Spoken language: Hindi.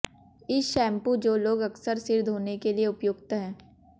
इस शैम्पू जो लोग अक्सर सिर धोने के लिए उपयुक्त है